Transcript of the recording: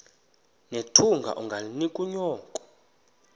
nethunga ungalinik unyoko